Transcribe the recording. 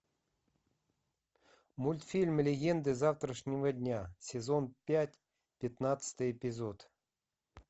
мультфильм легенды завтрашнего дня сезон пять пятнадцатый эпизод